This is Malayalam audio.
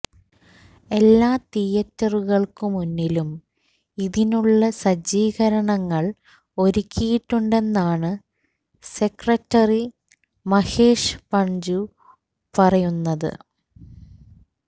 എല്ലാ തിയേറ്ററുകള്ക്കു മുന്നിലും ഇതിനുള്ള സജ്ജീകരണങ്ങള് ഒരുക്കിയിട്ടുണ്ടെന്നാണ് സെക്രട്ടറി മഹേഷ് പഞ്ജു പറയുന്നത്